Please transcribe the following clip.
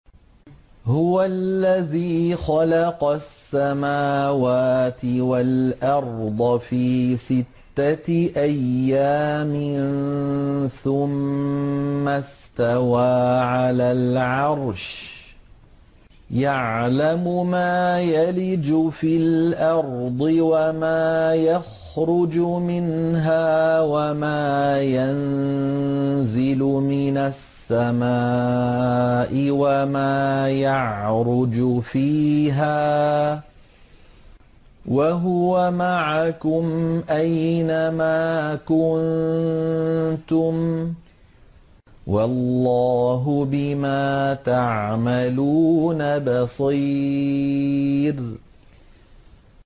هُوَ الَّذِي خَلَقَ السَّمَاوَاتِ وَالْأَرْضَ فِي سِتَّةِ أَيَّامٍ ثُمَّ اسْتَوَىٰ عَلَى الْعَرْشِ ۚ يَعْلَمُ مَا يَلِجُ فِي الْأَرْضِ وَمَا يَخْرُجُ مِنْهَا وَمَا يَنزِلُ مِنَ السَّمَاءِ وَمَا يَعْرُجُ فِيهَا ۖ وَهُوَ مَعَكُمْ أَيْنَ مَا كُنتُمْ ۚ وَاللَّهُ بِمَا تَعْمَلُونَ بَصِيرٌ